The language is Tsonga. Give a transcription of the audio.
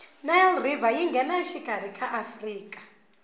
nile river yingenashikarhi ka afrika